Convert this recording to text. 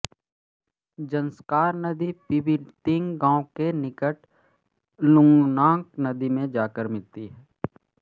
ज़ंस्कार नदी पिबितिंग गाँव के निकट लुंगनाक नदी में जाकर मिलती है